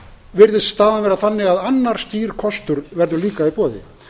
virðist staðan vera þannig að annar skýr kostur verður líka í boði